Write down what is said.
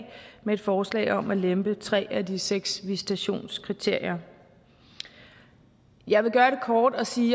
med et forslag om at lempe tre af de seks visitationskriterier jeg vil gøre det kort og sige